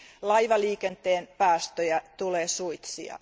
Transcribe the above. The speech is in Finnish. Laivaliikenteen päästöjä tulee suitsia.